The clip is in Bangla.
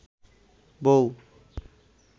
বৌ